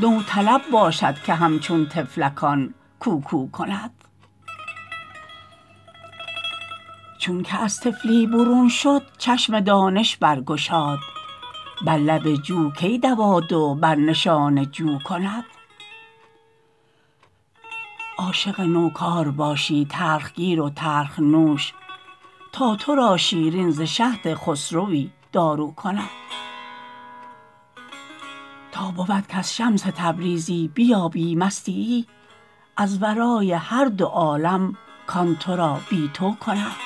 نوطلب باشد که همچون طفلکان کوکو کند چونک از طفلی برون شد چشم دانش برگشاد بر لب جو کی دوادو بر نشان جو کند عاشق نوکار باشی تلخ گیر و تلخ نوش تا تو را شیرین ز شهد خسروی دارو کند تا بود کز شمس تبریزی بیابی مستیی از ورای هر دو عالم کان تو را بی تو کند